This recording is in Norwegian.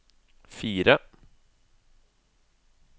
fire